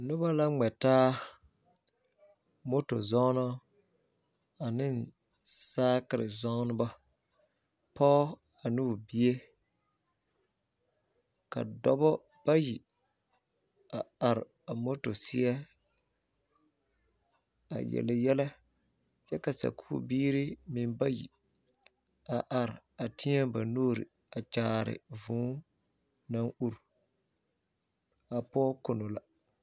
Noba la gmɛ taa, popo zɔɔnɔ ane saakere(kurewire) zɔɔnɔ. Pɔge ane o bie kyɛ ka noba are a popo ane a kurewire seɛ a yelle yɛlɛ kyɛ ka sakubiire bayi a are teɛ ba nuure a kyaare vūū naŋ ure.A pɔge kono la.